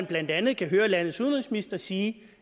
blandt andet kan høre landets udenrigsminister sige